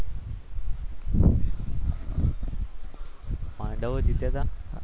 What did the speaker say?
પાંડવ જીત્યા હતા.